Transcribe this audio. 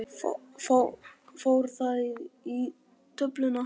Fór það í töfluna?